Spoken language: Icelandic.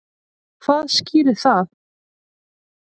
Hvað skýrir það?